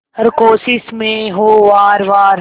हर कोशिश में हो वार वार